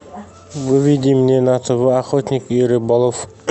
выведи мне на тв охотник и рыболов